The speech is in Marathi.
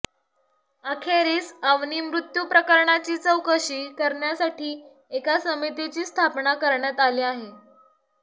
अखेरीस अवनी मृत्यू प्रकरणाची चौकशी करण्यासाठी एका समितीची स्थापना करण्यात आली आहे